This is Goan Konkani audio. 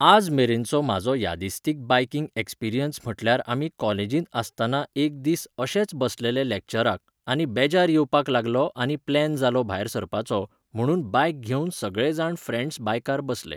आज मेरेनचो म्हाजो यादिस्तीक बायकिंग ऍक्सपिरियन्स म्हटल्यार आमी कॉलेजींत आसताना एक दीस अशेच बसलेले लॅक्चराक आनी बेजार येवपाक लागलो आनी प्लॅन जालो भायर सरपाचो, म्हणून बायक घेवन सगळे जाण फ्रॅन्ड्स बायकार बसले.